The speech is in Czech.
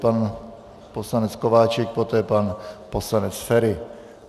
Pan poslanec Kováčik, poté pan poslanec Feri.